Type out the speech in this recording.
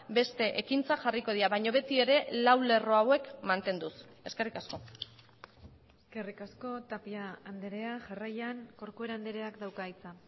beste ekintzak jarriko dira baina beti ere lau lerro hauek mantenduz eskerrik asko eskerrik asko tapia andrea jarraian corcuera andreak dauka hitza